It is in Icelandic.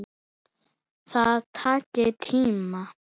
Það taki tíma.